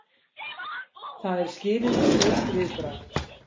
Það er skilyrðislaust viðbragð.